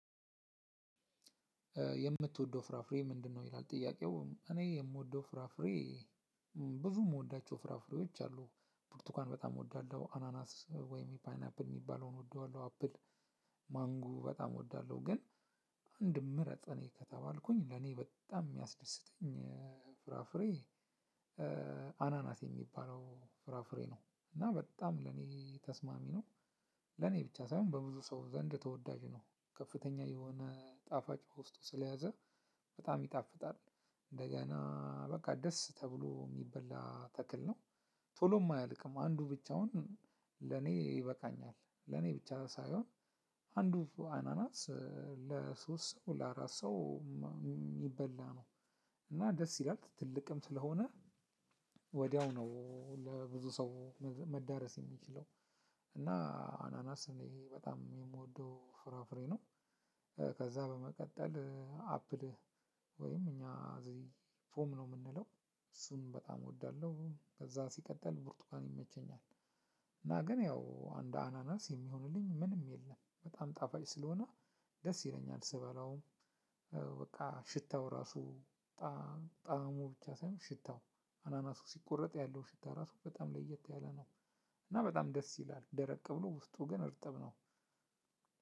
የምትወደው ፍራፍሬ ምንድነው? ይላል ጥያቄው እኔ የምወደው ፍራፍሬ ብዙ የምወዳቸው ፍራፍሬዎች አሉ ብርቱካን በጣም እወዳለሁ አናናስ ወይም ፓይናፕል የሚባለውን እወደዋለሁ አፕል ማንጎ በጣም እወዳለሁ ግን አንዱን ምርጥ ከተባልኩኝ ለኔ በጣም የሚያስደስተኝ ፍራፍሬ አናናስ የሚባለው ፍራፍሬ ነው። እና በጣም ለኔ ተስማሚ ነው። ለኔ ብቻ ሳይሆን በብዙ ሰው ዘንድ ተወዳጅ ነው። ከፍተኛ የሆነ ጣፋጭ በውስጡ ስለያዘ በጣም ይጣፍጣል እንደገና በቃ ደስ ተብሎ የሚበላ ተክል ነው። ቶሎም አያልቅም አንዱ ብቻውን ለኔ ይበቃኛል ለኔ ብቻ ሳይሆን አንዱ አናናስ ለሶስት ለአራት ሰው የሚበላ ነው። እና ደስ ይላል ትልቅም ስለሆነ ወዲያው ነው ለብዙ ሰው መዳረስ የሚችለው እና አናናስ እኔ በጣም የምወደው ፍራፍሬ ነው። ከዛ በመቀጠል አፕል ወይም እኛ እዚህ ፎም ነው የምንለው እሱንም በጣም እወዳለሁ። ከዛ ሲቀጠል ብርቱካን ይመቸኛል። እና ግን ያው እንድ አናናስ የሚሆንልኝ ምንም የለም በጣም ጣፋጭ ስለሆነ ደስ ይለኛል። ስበላውም በቃ ሽታው እራሱ ጣዕሙ ብቻ ሳይሆን ሽታው አናናሱ ሲቆረጥ ያለው ሽታ ራሱ በጣም ለየት ያለ ነው። እና በጣም ደስ ይላል ደረቅ ብሎ ውስጡ ግን እርጥብ ነው።